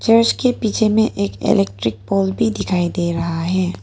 और इसके पीछे में एक इलेक्ट्रिक पोल भी दिखाई दे रहा है।